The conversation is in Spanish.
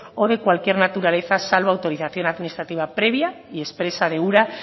o de cualquier naturaleza salvo autorización administrativa previa y expresa de ura